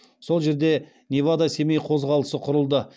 сол жерде невада семей қозғалысы құрылды